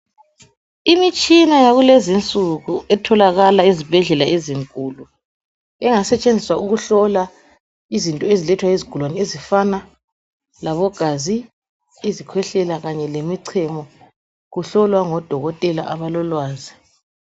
Imitshina yakulezi insuku etholakala ezibhedlela ezinkulu engasetshenziswa ukuhlola izinto ezilethwa yizigulane ezifana labogazi izikwehlela kanye lemichemo kuhlolwa ngodokotela abalolwazi